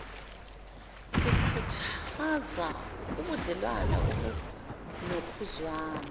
sikhuthaze ubudlewane obunokuzwana